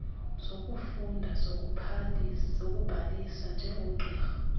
zokufunda zokubhalisa njengogqirha